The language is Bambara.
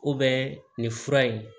nin fura in